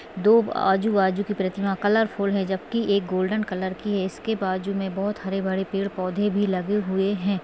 दो आजूबाजू की प्रतिमा कलरफूल है जब की एक गोल्डन कलर की है इसके बाजू मे बोहोत हरे भरे पेड़ पौधे भी लगे हुए है।